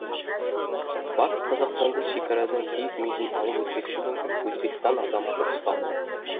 батыс қазақстанда шекарадан киік мүйізін алып өтпекші болған өзбекстан азаматы ұсталды